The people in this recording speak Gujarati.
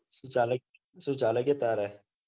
સુ સુ ચાલે કે ચાલ કે તારે